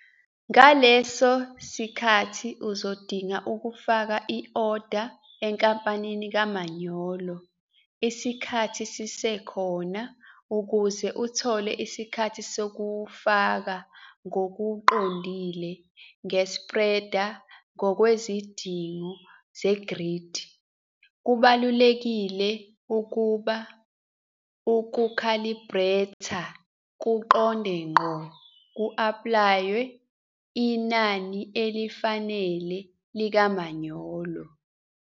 Ngaleso sikhathi uzodinga ukufaka i-oda enkampanini kamanyolo isikhathi sisekhona ukuze uthole isikhathi sokuwufaka ngokuqondile nge-spreader ngokwezidingo ze-grid. Kubalulekile ukuba uku-khalibretha kuqonde ngqo ku-aplaywe inani elifanele likamanyolo.